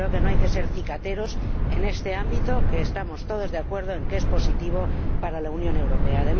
Pero creo que no hay que ser cicateros en este ámbito, que estamos todos de acuerdo en que es positivo para la Unión Europea.